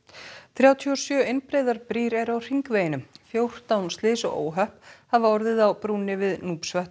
þrjátíu og sjö einbreiðar brýr eru á hringveginum fjórtán slys og óhöpp hafa orðið á brúnni við